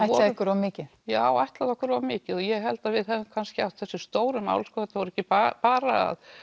ykkur of mikið já ætlað okkur of mikið og ég held að við hefðum kannski átt þessi stóru mál sko þetta var ekki bara að